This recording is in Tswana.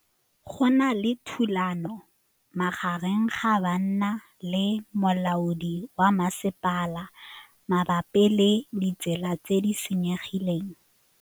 Go na le thulanô magareng ga banna le molaodi wa masepala mabapi le ditsela tse di senyegileng.